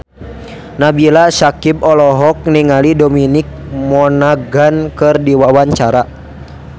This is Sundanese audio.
Nabila Syakieb olohok ningali Dominic Monaghan keur diwawancara